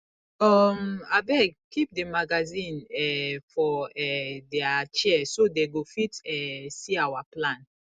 um abeg keep the magazine um for um for their chair so dey go fit um see our plan